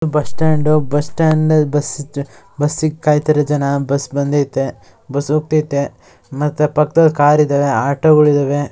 Bus stand bus stand bus ಬಸ್ಸಿಗ್ ಕಾಯ್ತಾರೆ ಜನ. ಬಸ್ ಬಂದೈತೆ ಬಸ್ ಹೋಗ್ತಾಯ್ತೆ ಮತ್ತೆ ಪಕ್ಕದಲ್ಲಿ ಕಾರ್ ಇದಾವೆ ಆಟೋ ಗಳಿದವೆ.